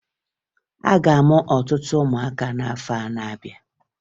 A ga-amụ ọtụtụ ụmụaka n'afọ na-abịa